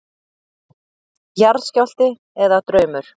Jarðskjálfti eða draumur?